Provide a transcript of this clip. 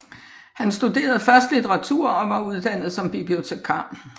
Han studerede først litteratur og var uddannet som bibliotekar